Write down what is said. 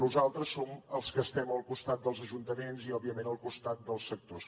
nosaltres som els que estem al costat dels ajuntaments i òbviament al costat dels sectors